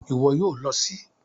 Ìwo yio lo sí